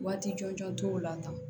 Waati jɔnjɔn t'o la tan